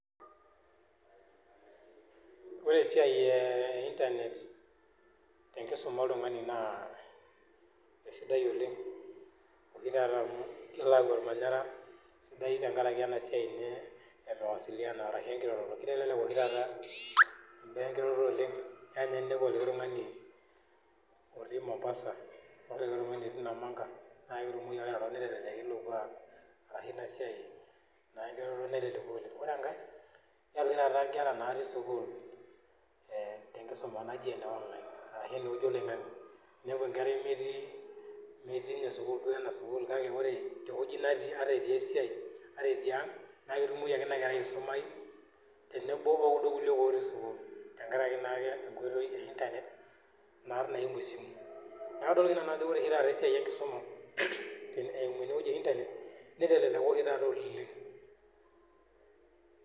Ore esiai e internet te kisuma oltungani naa kisidai oooleng oshi taata amu eitobir ormanyara sidai taa ninye te nkaraki ena siai emawasiliano ashu ekirorokino amu kitelelek oshi taata baa ekiroroto oooleng keya ninye negoliki otii Mombasa arashu ewueji neji namanga na ketumoki ake airoro...... Ore enkae naa nkera taata natii sukuul te nkisuma naji e online ashu ene wueji oloingange inepu nkera inepu nkera metii metii duo ena sukuul kake ore te wueji natii ata etii esiai ata etii ang naa ketumoki ake ena kerai aisumai te nebo o kuldo otii sukuul te nkaraki taake ekoitoi e internet naa r simu. Neaku ore taata esisi ekisuma eimu ene wueji e internet neteleleko oshi taata oooleng.